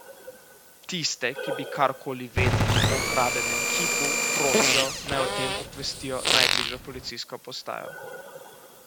Tiste, ki bi karkoli vedeli o ukradenem kipu, prosijo, naj o tem obvestijo najbližjo policijsko postajo.